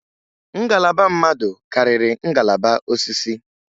Ngalaba mmadụ karịrị ngalaba osisi.